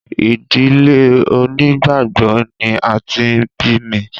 Ìdílé onígbàgbọ́ ni a ti bí mi